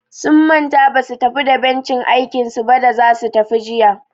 Sun manta basu tafi da bencin aikinsu ba da zasu tafi jiya.